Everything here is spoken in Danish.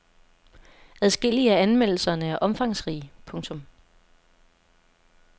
Adskillige af anmeldelserne er omfangsrige. punktum